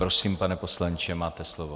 Prosím, pane poslanče, máte slovo.